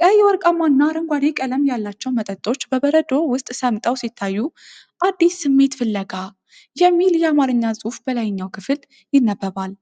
ቀይ፣ ወርቃማ እና አረንጓዴ ቀለም ያላቸው መጠጦች በበረዶ ውስጥ ሰምጠው ሲታዩ፣ “አዲስ ስሜት ፍለጋ” የሚል የአማርኛ ጽሑፍ በላይኛው ክፍል ይነበባል።